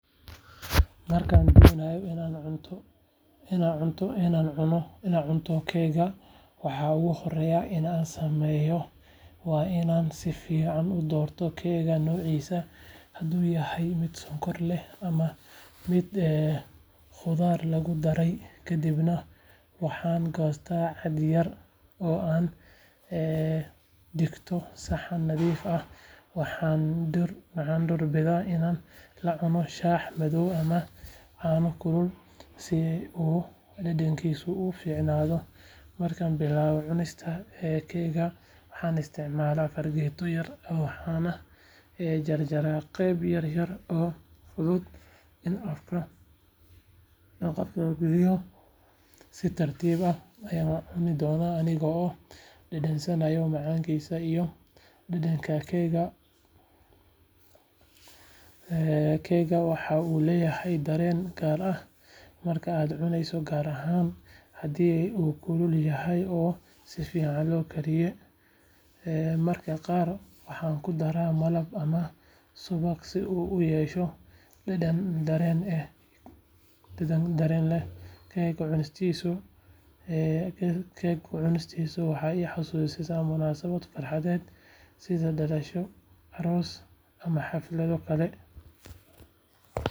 Markaan doonayo inaan cunto keegka waxa ugu horreeya ee aan sameeyo waa inaan si fiican u doorto keegka noociisa hadduu yahay mid sonkor leh ama mid khudaar lagu daray kadibna waxaan goostaa cad yar oo aan dhigto saxan nadiif ah waxaan doorbidaa inaan la cuno shaah madow ama caano kulul si uu dhadhankiisu u fiicnaado markaan bilaabayo cunista keegga waxaan isticmaalaa fargeeto yar waxaana jarayaa qaybo yaryar oo fudud in afka la gashado si tartiib ah ayaan u cuni doonaa anigoo dhadhansanaya macaanida iyo dhadhanka keegga keegga waxa uu leeyahay dareen gaar ah marka aad cunayso gaar ahaan haddii uu kulul yahay oo si fiican loo kariyay mararka qaar waxaan ku daraa malab ama subag si uu u yeesho dhadhan dheeraad ah keegga cunistiisu waxay i xasuusisaa munaasabado farxadeed sida dhalasho aroos ama xaflado kale.